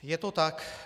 Je to tak.